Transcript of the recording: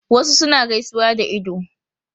Wasu suna gaisuwa da ido